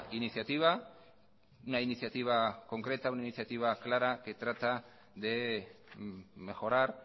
iniciativa una iniciativa concreta una iniciativa clara que trata de mejorar